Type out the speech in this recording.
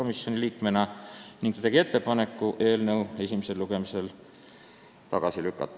Nii sündiski ettepanek otsuse eelnõu 552 esimesel lugemisel tagasi lükata.